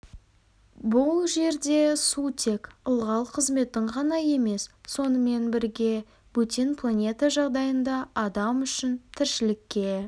бұл жерде су тек ылғал қызметін ғана емес сонымен бірге бөтен планета жағдайында адам үшін тіршілікке